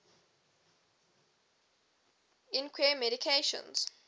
equine medications